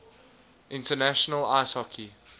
international ice hockey